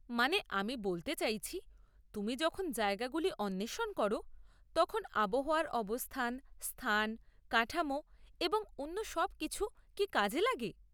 মানে, আমি বলতে চাইছি, তুমি যখন জায়গাগুলি অন্বেষণ করো তখন আবহাওয়ার অবস্থা, স্থান, কাঠামো এবং অন্য সব কিছু কি কাজে লাগে?